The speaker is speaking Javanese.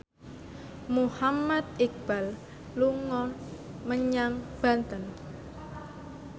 Muhammad Iqbal dolan menyang Banten